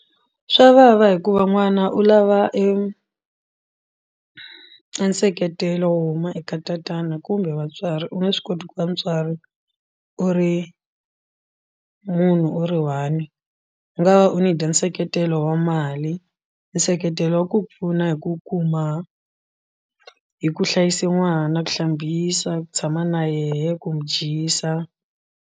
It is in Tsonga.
Swa vava hikuva n'wana u lava enseketelo wo huma eka tatana kumbe vatswari u nge swi koti ku va mutswari u ri munhu u ri one u nga va u need-a nseketelo wa mali nseketelo wa ku pfuna hi ku kuma hi ku hlayisa n'wana ku hlambisa ku tshama na yena ku mu dyisa.